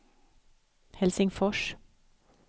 Helsingfors